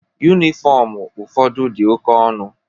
Yunifọmu ụfọdụ dị oke ọnụ.